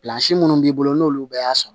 minnu b'i bolo n'olu bɛ y'a sɔrɔ